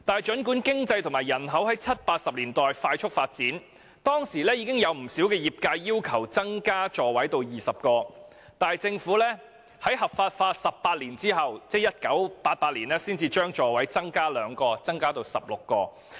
儘管經濟和人口在七八十年代快速發展，而當時亦已有不少業界要求把座位數目增加至20個，但政府卻是在合法化18年後，才將座位數目增加2個至16個。